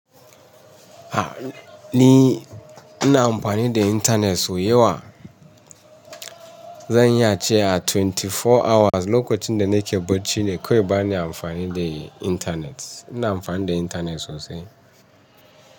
A ni ina amfani da internet so da yawa. Zan iya ce a twenty four hours lokacin da nake bacci ne kawai bana amfani da internet. Ina amfani da internet sosai.